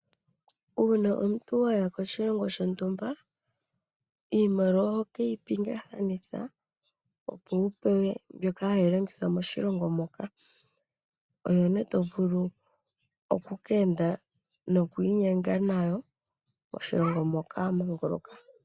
Una omuntu waya koshilongo shontumba iimaliwa ohoyi pingathanitha opo wu pewe mbyoka hayi longithwa moshilongo moka oyone to vulu oku enda nayo noshowo oku inyenga nayo moshilongo moka wamanguluka.